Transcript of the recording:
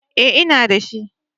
Eh, ina da shi